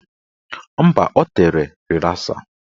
Mba, o tere rịlasa.